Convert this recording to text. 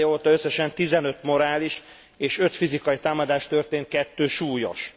Év eleje óta összesen tizenöt morális és öt fizikai támadás történt, kettő súlyos.